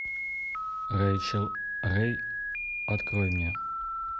рэйчел рэй открой мне